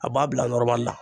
A b'a bila nɔrɔmali la